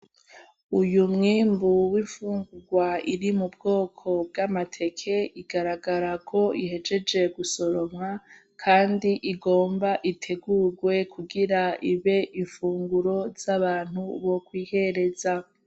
uyu mwimbu w'ifungurwa iri m’ubwoko bw'amateke igaragara ko ihejeje gusoromwa ,Kandi ugomba itegurwe ibe ifunguro z'abantu bokwihereza.